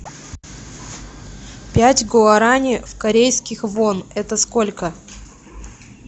пять гуарани в корейских вон это сколько